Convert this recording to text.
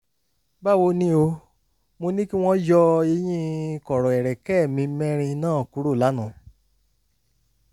báwo ni o? mo ní kí wọ́n yọ eyín kọ̀rọ̀ ẹ̀rẹ̀kẹ́ mi mẹ́rin náà kúrò lánàá